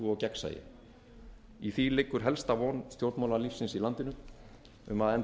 frú forseti ég vil byrja á því að